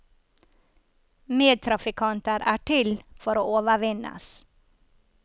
Medtrafikkanter er til for å overvinnes.